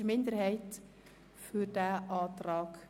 Sie wünschen die umgekehrte Reihenfolge.